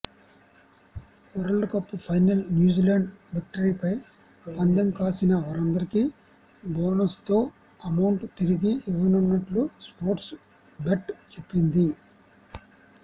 world cup ఫైనల్లో New Zealand విక్టరీపై పందెం కాసిన వారందరికీ బోనస్తో అమౌంట్ తిరిగి ఇవ్వనున్నట్లు స్పోర్ట్స్ బెట్ చెప్పింది